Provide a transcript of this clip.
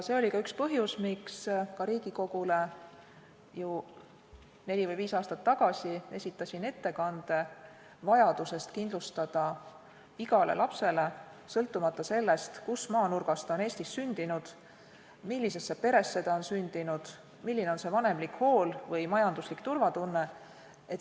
Seetõttu esitasin Riigikogule juba neli või viis aastat tagasi kirjaliku ettekande vajadusest kindlustada igale Eesti lapsele parim võimalik haridus, sõltumata tema sünni- ja elukohast, sellest, millisesse peresse ta on sündinud, milline on vanemlik hool või majanduslik turvatunne.